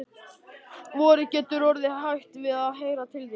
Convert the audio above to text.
Vorið getur orðið hrætt við að heyra til þín.